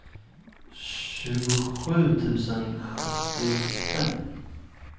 tjugosju tusen sjuttiofem